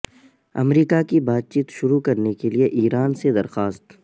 امریکا کی بات چیت شروع کرنے کے لیے ایران سے درخواست